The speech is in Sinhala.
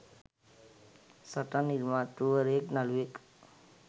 සටන් නිර්මාතෘවරයෙක් නළුවෙක්